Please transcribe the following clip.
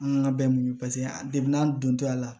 An ka bɛn an deb'an donto a la